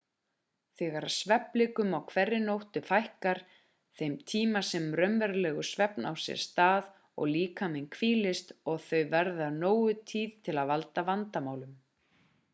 þegar svefnblikum á hverri nóttu fækkar þeim tíma sem raunverulegur svefn á sér stað og líkaminn hvílist og þau verða nógu tíð til að valda vandamálum